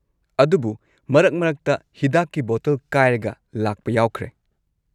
ꯑꯗꯨꯕꯨ ꯃꯔꯛ-ꯃꯔꯛꯇ ꯍꯤꯗꯥꯛꯀꯤ ꯕꯣꯇꯜ ꯀꯥꯏꯔꯒ ꯂꯥꯛꯄ ꯌꯥꯎꯈ꯭ꯔꯦ꯫